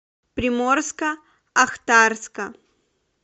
приморско ахтарска